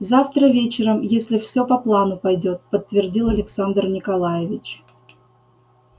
завтра вечером если всё по плану пойдёт подтвердил александр николаевич